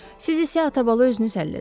Siz isə atabala özünüz həll edin.